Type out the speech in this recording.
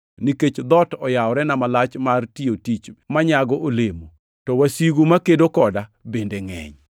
nikech dhoot oyaworena malach mar tiyo tich manyago olemo, to wasigu makedo koda bende ngʼeny.